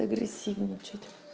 агрессивный что-то